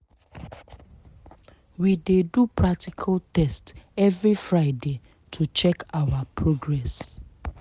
we dey do practical test every friday to check our progress